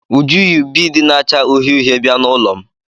Uju yi biidi na-acha uhie uhie bịa n'ụlọ m.